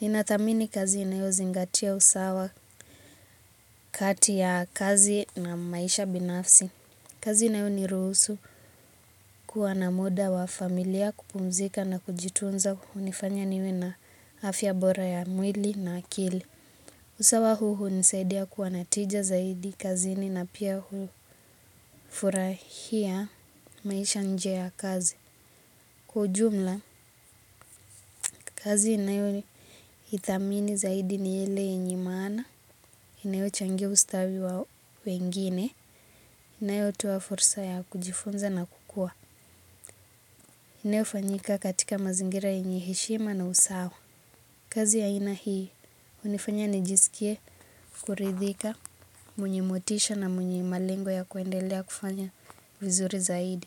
ninathamini kazi inayozingatia usawa kati ya kazi na maisha binafsi. Kazi inayoniruhusu kuwa na muda wa familia kupumzika na kujitunza hunifanya niwe na afya bora ya mwili na akili. Usawa huu hunisaidia kuwa na tija zaidi kazini na pia hufurahia maisha nje ya kazi. Kwa ujumla, kazi inayoithamini zaidi ni ile yenye maana, inayochangia ustawi wa wengine, inayotoa fursa ya kujifunza na kukua. Inayofanyika katika mazingira yenye heshima na usawa. Kazi ya aina hii hunifanya nijisikie kuridhika mwenye motisha na mwenye malengo ya kuendelea kufanya vizuri zaidi.